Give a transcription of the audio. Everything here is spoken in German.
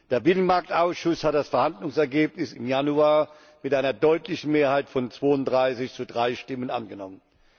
Der Binnenmarktausschuss hat das Verhandlungsergebnis im Januar mit einer deutlichen Mehrheit von 32 zu 3 Stimmen angenommen.